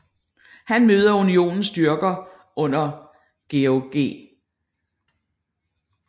Han mødte Unionens styrker under George G